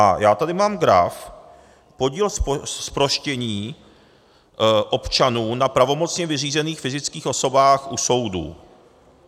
A já tady mám graf , podíl zproštění občanů na pravomocně vyřízených fyzických osobách u soudů.